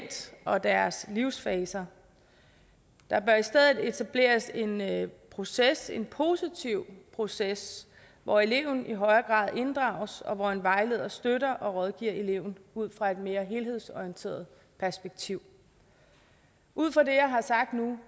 og deres livsfaser der bør i stedet etableres en proces en positiv proces hvor eleven i højere grad inddrages og hvor en vejleder støtter og rådgiver eleven ud fra et mere helhedsorienteret perspektiv ud fra det jeg har sagt nu